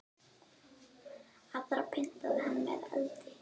Aðra pyntaði hann með eldi.